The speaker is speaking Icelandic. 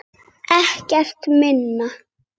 Ekkert minna!